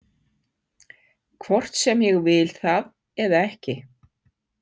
Hvort sem ég vil það eða ekki.